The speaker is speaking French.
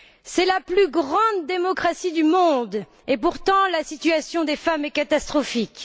C'est la plus grande démocratie du monde et, pourtant, la situation des femmes y est catastrophique.